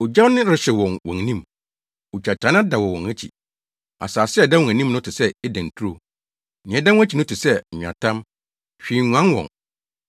Ogya rehyew wɔ wɔn anim, ogyatannaa dɛw wɔ wɔn akyi, asase a ɛda wɔn anim no te sɛ Eden turo, nea ɛda wɔn akyi no te sɛ nweatam, hwee nguan wɔn.